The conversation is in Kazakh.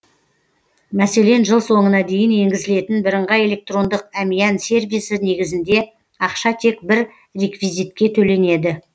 мәселен жыл соңына дейін енгізілетін бірыңғай электрондық әмиян сервисі негізінде ақша тек бір реквизитке төленеді